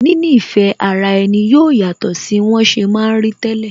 Níní ìfẹ́ ara ẹni yóò yàtọ̀ sí wọn ṣe ma ń rí tẹ́lẹ̀